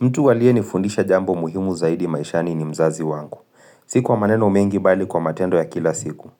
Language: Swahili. Mtu aliyenifundisha jambo muhimu zaidi maishani ni mzazi wangu. Si kwa maneno mengi bali kwa matendo ya kila siku.